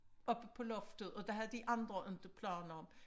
Oppe på loftet og det havde de andre inte planer om